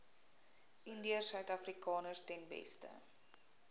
indiërsuidafrikaners ten beste